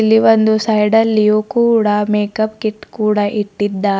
ಇಲ್ಲಿ ಒಂದು ಸೈಡ್ ಅಲ್ಲಿಯೂ ಕೂಡ ಮೇಕಪ್ ಕಿಟ್ ಕೂಡ ಇಟ್ಟಿದ್ದಾ--